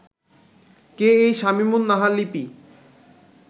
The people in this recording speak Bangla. কে এই শামীমুন নাহার লিপি